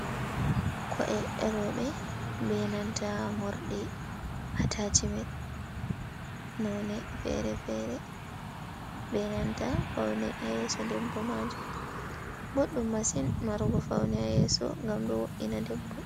Ko’e roɓe benanta morɗi atachimen none fere fere benanta faune yeso debbo majum boɗɗum masin marugo faune ha yeso ngam do wo’’ina debbo. .